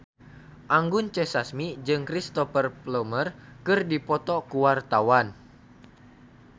Anggun C. Sasmi jeung Cristhoper Plumer keur dipoto ku wartawan